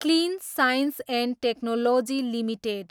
clean science and technology limited